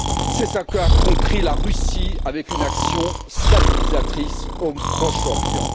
C'est ce qu'a compris la Russie avec une action stabilisatrice au Proche Orient.